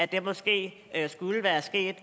det måske skulle være sket